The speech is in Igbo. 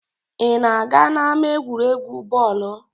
ị na-aga n'ama egwuregwu bọọlụ?